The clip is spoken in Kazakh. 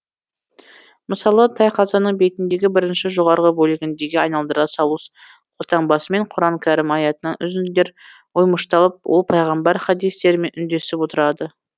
мысалы тайқазанның бетіндегі бірінші жоғарғы бөлігіндегі айналдыра салус қолтаңбасымен құран кәрім аятынан үзінділер оймышталып ол пайғамбар хадистерімен үндесіп отырады